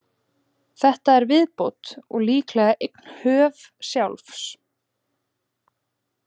Þetta er viðbót, og líklega eign höf. sjálfs.